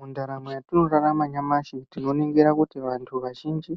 Mundaramo yatinorarama nyamashi tinoningira kuti vanthu vazhinji